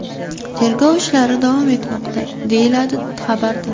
Tergov ishlari davom etmoqda”, deyiladi xabarda.